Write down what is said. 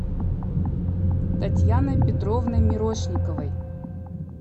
татьяной петровной мирошниковой